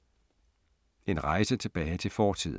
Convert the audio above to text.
En rejse tilbage til fortiden